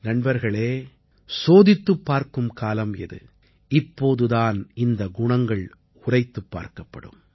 நண்பர்களே சோதித்துப் பார்க்கும் காலம் இது இப்போது தான் இந்த குணங்கள் உரைத்துப் பார்க்கப்படும்